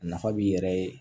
A nafa b'i yɛrɛ ye